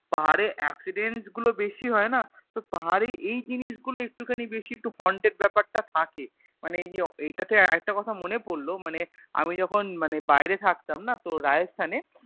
পাহাড়ে Accident গুলোবেশি হয় না তো পাহাড়ে এই জিনিসগুলো একটুখানি বেশি একটু Haunted ব্যাপার টা থাকে মানে এইযে এইটা তে আর একটা কথা মনে পড়লো মানে আমি যখন মানে বাইরে থাকতাম না তোর Rajasthan এ